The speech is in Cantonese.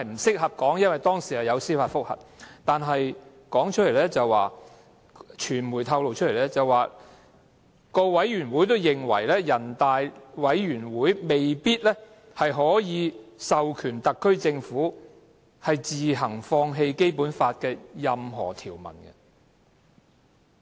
據報，該會的相關委員會也認為，全國人民代表大會常務委員會未必可以授權特區政府自行放棄《基本法》的任何條文。